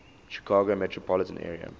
chicago metropolitan area